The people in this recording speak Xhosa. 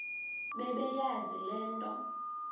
bebeyazi le nto